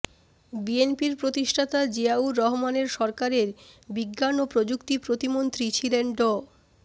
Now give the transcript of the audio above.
বিএনপির প্রতিষ্ঠাতা জিয়াউর রহমানের সরকারের বিজ্ঞান ও প্রযুক্তি প্রতিমন্ত্রী ছিলেন ড